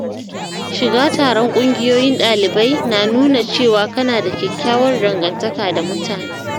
Shiga taron ƙungiyoyin ɗalibai na nuna cewa kana da kyakkyawar dangantaka da mutane.